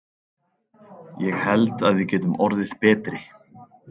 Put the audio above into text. Ég held að við getum orðið betri.